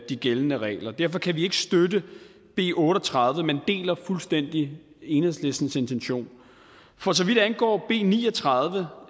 de gældende regler derfor kan vi ikke støtte b otte og tredive men deler fuldstændig enhedslistens intention for så vidt angår b ni og tredive